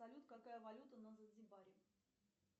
салют какая валюта на занзибаре